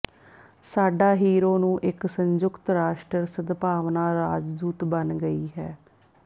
ਸਾਡਾ ਹੀਰੋ ਨੂੰ ਇੱਕ ਸੰਯੁਕਤ ਰਾਸ਼ਟਰ ਸਦਭਾਵਨਾ ਰਾਜਦੂਤ ਬਣ ਗਈ ਹੈ